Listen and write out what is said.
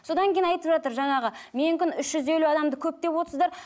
содан кейін айтып жатыр жаңағы менікін үш жүз елу адамды көп деп отырсыздар